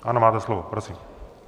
Ano, máte slovo, prosím.